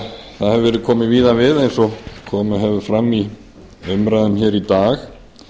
það hefur verið komið víða við eins og komið hefur fram í umræðum hér í dag